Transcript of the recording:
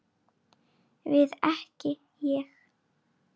Við ekki Ég.